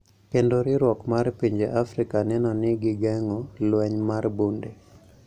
Kendo riwruok mar pinje Afrika neno ni gigeng`o lweny mar bunde